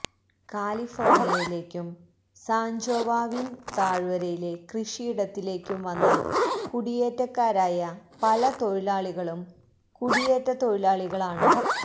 കാലിഫോർണിയയിലേക്കും San Joaquin താഴ്വരയിലെ കൃഷിയിടത്തിലേക്കും വന്ന കുടിയേറ്റക്കാരായ പല തൊഴിലാളികളും കുടിയേറ്റ തൊഴിലാളികളാണ്